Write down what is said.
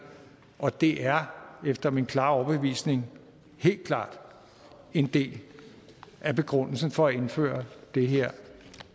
og det er efter min overbevisning helt klart en del af begrundelsen for at indføre det her